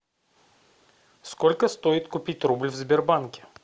сколько стоит купить рубль в сбербанке